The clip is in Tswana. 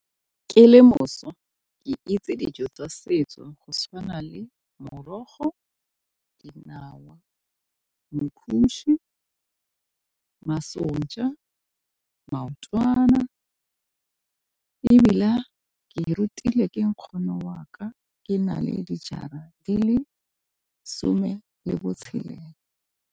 Ke le mošwa ke itse dijo tsa setso go tshwana le morogo, dinawa, , masonja, maotwana ke rutile ke nkgono wa ka ke na le dijara di le some le botshelela.